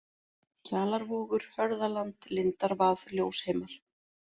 Kjalarvogur, Hörðaland, Lindarvað, Ljósheimar